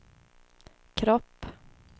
kropp